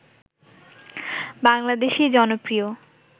বাংলাদেশী জনপ্রিয়